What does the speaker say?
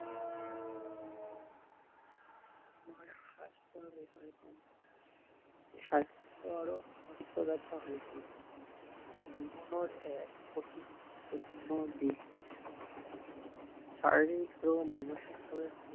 স্বাস্থ্যৰ বিষয়ে কম স্বাস্থ্যৰ আৰু সুস্থৰতা হৈছে জীৱনৰ এক অতি গুৰুত্বপূৰ্ণ দিশ শাৰীৰিক আৰু মানসিক ভাৱে